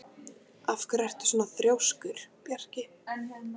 Af hverju ertu svona þrjóskur, Bjarki?